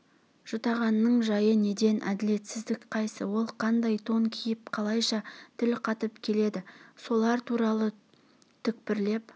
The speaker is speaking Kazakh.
жұтағанның жайы неден әділетсіздік қайсы ол қандай тон киіп қалайша тіл қатып келеді солар туралы түкпірлеп